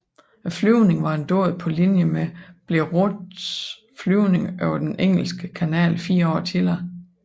Flyvningen var en dåd på linje med Blériots flyvning over Den engelske kanal fire år tidligere